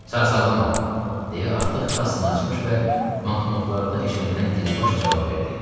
Sarsaqlama, deyə artıq kassanı açmış və manknotlarda eşələnən Diribaş cavab verdi.